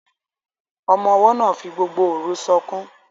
Ọmọ-ọwọ́ náà fi gbogbo òru sọkún